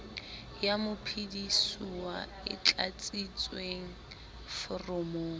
ya mophedisuwa e tlatsitsweng foromong